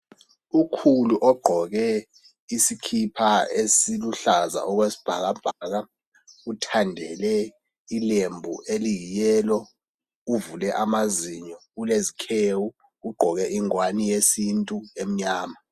Ukhulu ogqoke isikipa esiluhlaza okwesibhakabhaka uthandele ilembu eliyi yellow ,uvule amazinyo, ulezikhewu, ugqoke ingwane yesintu emnyama .